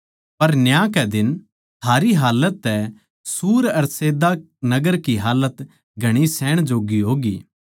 पर न्याय कै दिन थारी हालत तै सूर अर सैदा नगर की हालत घणी सहण जोग्गी होवैगी